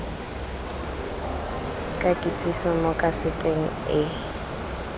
ka kitsiso mo kaseteng a